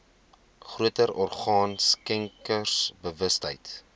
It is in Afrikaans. groter orgaan skenkersbewustheid